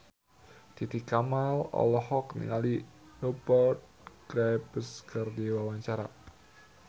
Titi Kamal olohok ningali Rupert Graves keur diwawancara